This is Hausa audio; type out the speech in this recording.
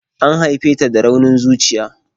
An haife ta da raunin zuciya.